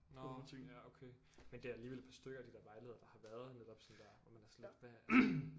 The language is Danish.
Nåh ja okay men det er der alligevel et par stykker af de der vejledere der har været netop sådan der hvor man er sådan lidt hvad